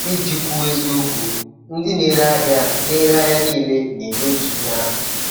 Iji kwuo eziokwu, ndị na-ere ahịa na-ere ahịa niile na-enye otu ihe ahụ.